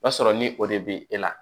O b'a sɔrɔ ni o de bɛ e la